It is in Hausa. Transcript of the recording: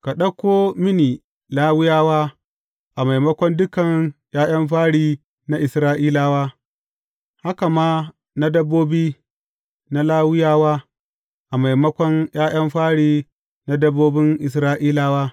Ka ɗauko mini Lawiyawa a maimakon dukan ’ya’yan fari na Isra’ilawa, haka ma na dabbobi na Lawiyawa, a maimakon ’ya’yan fari na dabbobin Isra’ilawa.